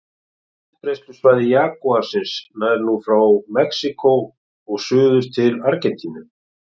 Útbreiðslusvæði jagúarsins nær nú frá Mexíkó og suður til Argentínu.